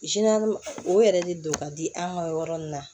o yɛrɛ de don ka di an ka yɔrɔ in na